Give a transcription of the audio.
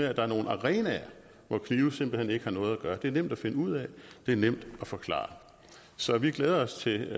at der er nogle arenaer hvor knive simpelt hen ikke har noget at gøre det er nemt at finde ud af det er nemt at forklare så vi glæder os til